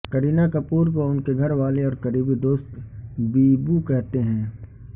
کرینہ کپور کو ان کے گھر والے اور قریبی دوست بیبو کہتے ہیں